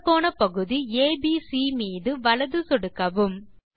வட்டக் கோணப்பகுதி ஏபிசி மீது வலது சொடுக்கவும்